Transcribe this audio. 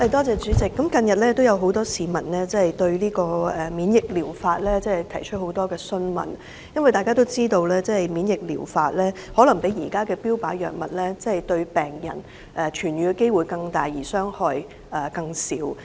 主席，近日有很多市民查詢免疫療法的資料，因為大家都知道這療法與現時的標靶治療相比，病人的痊癒機會可能更大而副作用更少。